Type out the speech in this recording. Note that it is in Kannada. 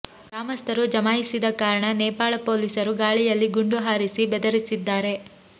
ಗ್ರಾಮಸ್ಥರು ಜಮಾಯಿಸಿದ ಕಾರಣ ನೇಪಾಳ ಪೊಲೀಸರು ಗಾಳಿಯಲ್ಲಿ ಗುಂಡು ಹಾರಿಸಿ ಬೆದರಿಸಿದ್ದಾರೆ